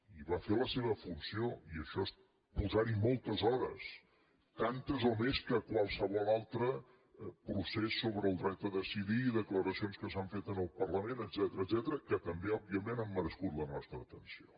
i va fer la seva funció i això és posar hi moltes hores tantes o més que a qualsevol altre procés sobre el dret a decidir declaracions que s’han fet en el parlament etcètera que també òbviament han merescut la nostra atenció